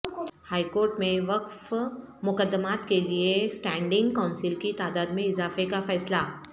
high court میں وقف مقدمات کیلئے اسٹینڈنگ کونسلس کی تعداد میں اضافے کا فیصلہ